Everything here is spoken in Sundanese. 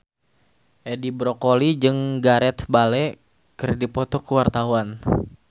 Edi Brokoli jeung Gareth Bale keur dipoto ku wartawan